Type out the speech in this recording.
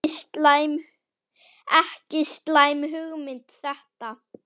Ekki slæm hugmynd þetta.